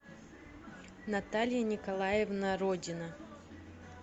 наталья николаевна родина